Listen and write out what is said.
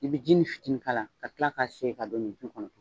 I bi jinin fitinin k'a la ka kila ka segin ka don ɲintin kɔnɔ.